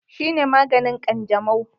Shi ne maganin Kwanjamo?